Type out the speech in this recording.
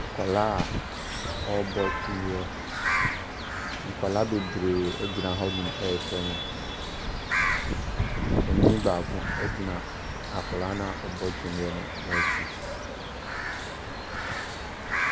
Akwadaa a ɔrebɔ twene. Nkwadaa bebree gyinahɔnom rehwɛ no. panin baako gyina akwadaa no a ɔrebɔ twene no akyi.